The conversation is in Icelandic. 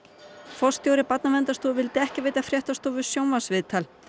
forstjóri Barnaverndarstofu vildi ekki veita fréttastofu sjónvarpsviðtal